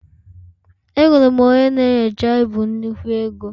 Enwere m onye na-enyocha ibu nnukwu ego